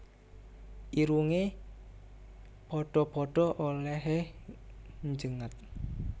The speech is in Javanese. Irunge padha padha olehe njengat